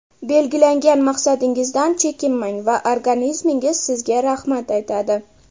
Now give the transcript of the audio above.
Belgilangan maqsadingizdan chekinmang va organizmingiz sizga rahmat aytadi!